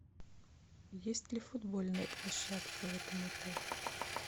есть ли футбольная площадка в этом отеле